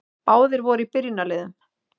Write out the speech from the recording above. Báðir voru í byrjunarliðum.